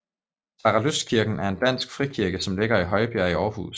Saralystkirken er en dansk frikirke som ligger i Højbjerg i Aarhus